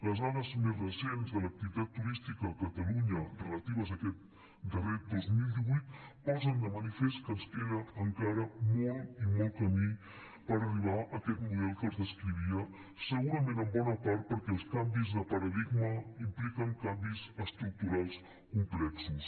les dades més recents de l’activitat turística a catalunya relatives a aquest darrer dos mil divuit posen de manifest que ens queda encara molt i molt camí per arribar a aquest model que els descrivia segurament en bona part perquè els canvis de paradigma impliquen canvis estructurals complexos